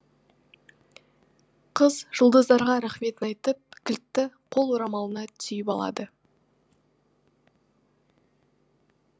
қыз жұлдыздарға рахметін айтып кілтті қол орамалына түйіп алады